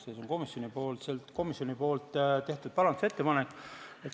Ja see on komisjoni tehtud parandusettepanek.